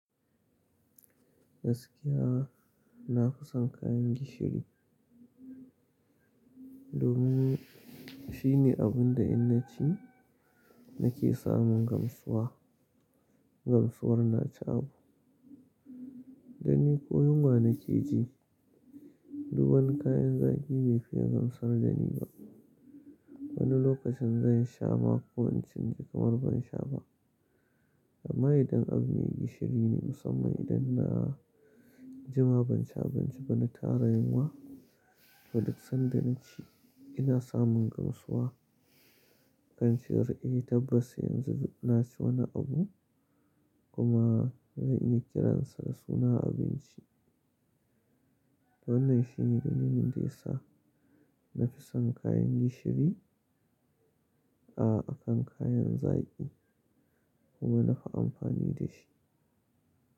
Gaskiya na fi son kayan gishiri domin shine abun da in naci nake samun gamsuwar, gamsuwar na ci abu. Dani ko yunwa nake ji, duk wani kayan zaki bai fiya gamsar dani ba. Wani lokacin zan sha ma kwancin ji kamar ban sha ba. Amma idan an yi gishiri ne musaman idan na cema ban cin abinci na tara junwa gwada san da naci ina samun gamsuwar kansi r'e tabbas yanzu na ci wani abu kuma zan iya kiransa da suna abinci. Wannan shi ne dalilin da ya sa na fi son kayan gishiri a kan kayan zaki kuma nafi amfani da shi.